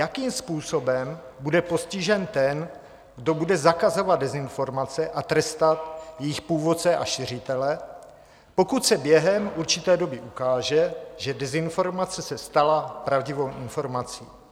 Jakým způsobem bude postižen ten, kdo bude zakazovat dezinformace a trestat jejich původce a šiřitele, pokud se během určité doby ukáže, že dezinformace se stala pravdivou informací?